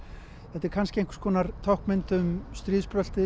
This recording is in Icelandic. þetta er kannski táknmynd um